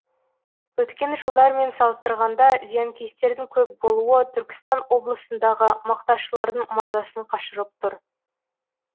өткен жылдармен салыстырғанда зиянкестердің көп болуы түркістан облысындағы мақташылардың мазасын қашырып тұр